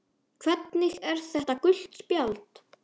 Hvernig er þetta gult spjald?